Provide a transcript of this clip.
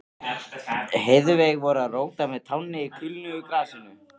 Heiðveig voru að róta með tánni í kulnuðu grasinu.